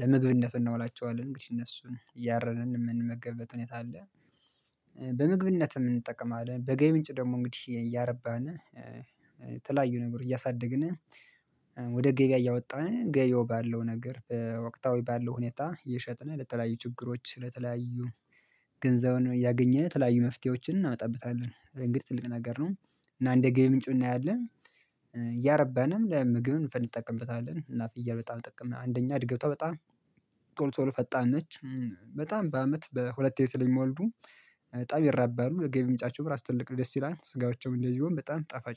ለምግብነት እናውላቸዋለን እንግዲህ እነሱን እያረድን የምንመገበት ሁኔታ አለ። በምግብነትም እንጠቀማለን በገቢ ምንጭ ደግሞ እንግዲህ እያረባን የተለያዩ ነገር እያሳደግን ወደ ገቢያ እያወጣን ገብያው ባለው ነገር በወቅታዊ ባለው ሁኔታ እየሸጥነ ለተለያዩ ችግሮች ለተለያዩ ገንዘቡን እያገኘን ተለያዩ መፍትሄዎችን እናመጣበታለን እንግዲህ ትልቅ ነገር ነው። እና እንደገቢ ምንጭም እናያለን። ያረባንም ለምግብ እንፈልግ እንጠቀምበታለን እና ፍየል በጣም ጥቅም አንደኛ አድገቷ በጣም ቶሎ ቶሎ ፈጣን ነች። በጣም በአመት በሁለቴ ስለሚወልዱ በጣም ይረባሉ ለገቢ የምጫቸው እራሱ ትልቅ ነው ደስ ይላል ስጋዎቸውም እንደዚህ ቢሆን በጣም ጠፋጭ